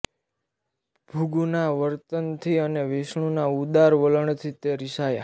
ભૃગુના વર્તનથી અને વિષ્ણુના ઉદાર વલણથી તે રિસાયાં